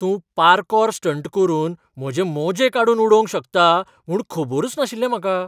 तूं parkour stunt करून म्हजे मोजे काडून उडोवंक शकता म्हूण खबरूच नाशिल्लें म्हाका.